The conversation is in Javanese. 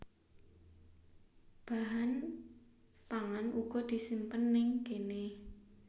Bahan pangan uga disimpen ing kéné